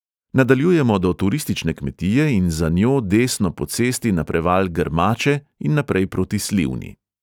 Nadaljujemo do turistične kmetije in za njo desno po cesti na preval grmače in naprej proti slivni.